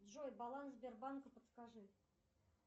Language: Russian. джой баланс сбербанка подскажи